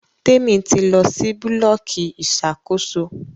Temi tí lọ sì Búlọ̀kì Ìṣàkóso.